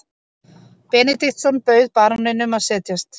Benediktsson bauð baróninum að setjast.